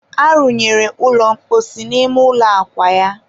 a runyere ụlọ mposi n'ime ụlọ akwa ya